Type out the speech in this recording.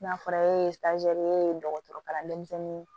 N'a fɔra e ye ye dɔgɔtɔrɔ kalan denmisɛnnin